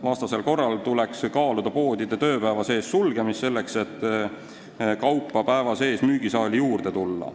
Vastasel korral tuleks kaaluda poodide tööpäeva sees sulgemist, selleks et kaupa päeva jooksul müügisaali juurde tuua.